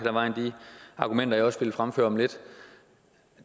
ad vejen de argumenter jeg har også vil fremføre om lidt